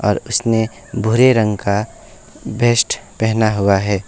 और उसने भूरे रंग का बेस्ट पहना हुआ है।